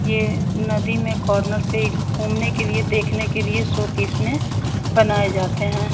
ये नही में कॉर्नर पे गुमने के लिए देखने के लिए सो पिस मे बनाये जाते है।